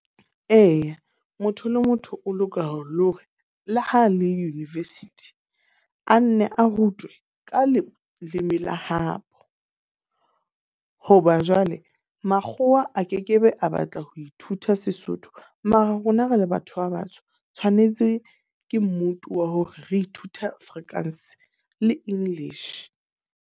Eya, motho le motho o lokela le hore, le ha le University. A nne a rutwe ka leleme la habo. Hoba jwale, makgowa a ke ke be a batla ho ithuta Sesotho. Mara rona re le batho ba batsho, tshwanetse ke wa hore re ithuta Afrikaans le English.